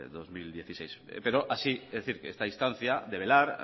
dos mil dieciséis pero así es decir esta instancia de velar